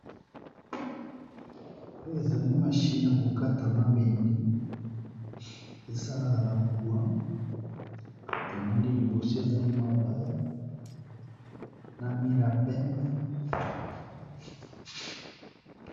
Pe ezali machine ya ko kata mabende, esalaka na courant tomoni liboso ezali mabaya na mur ya pembe.